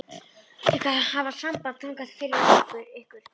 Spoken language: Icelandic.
Ég skal hafa samband þangað fyrir ykkur.